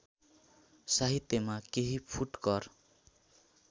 साहित्यमा केही फुटकर